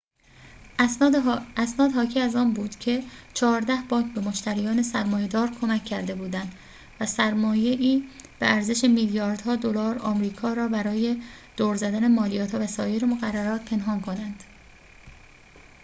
اسناد حاکی از آن بود که چهارده بانک به مشتریان سرمایه‌دار کمک کرده بودند سرمایه‌ای به ارزش میلیاردها دلار آمریکا را برای دور زدن مالیات‌ها و سایر مقررات پنهان کنند